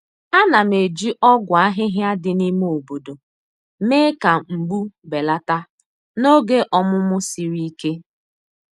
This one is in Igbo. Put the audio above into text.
A na'm eji ogwu ahịhịa dị n'ime obodo mee ka mgbu belata n'oge ọmụmụ siri ike.